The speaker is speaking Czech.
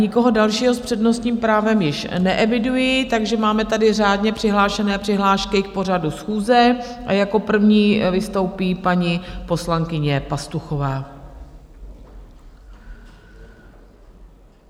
Nikoho dalšího s přednostním právem již neeviduji, takže máme tady řádně přihlášené přihlášky k pořadu schůze a jako první vystoupí paní poslankyně Pastuchová.